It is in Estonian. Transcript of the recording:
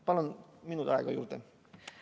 Palun minut aega juurde!